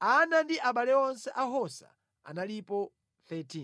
Ana ndi abale onse a Hosa analipo 13.